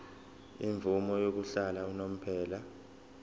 imvume yokuhlala unomphema